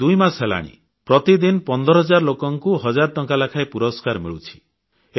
ପ୍ରାୟ ଦୁଇମାସ ହୋଇଗଲାଣି ପ୍ରତିଦିନ 15ହଜାର ଲୋକଙ୍କୁ ହଜାରେ ଟଙ୍କା ଲେଖାଏଁ ପୁରସ୍କାର ମିଳୁଛି